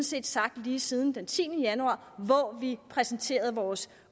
set sagt lige siden den tiende januar hvor vi præsenterede vores